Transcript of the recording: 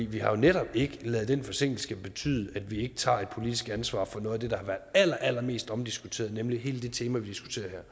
vi har jo netop ikke ladet den forsinkelse betyde at vi ikke tager et politisk ansvar for noget af det der har været allerallermest omdiskuteret nemlig hele det tema vi diskuterer